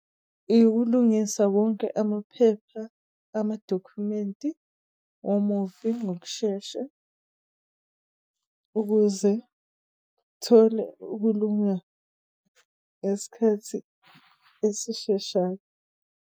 Ukulungisa wonke amaphepha amadokhumenti womufi ngokushesha ukuze kthole ukulunga ngesikhathi esisheshayo.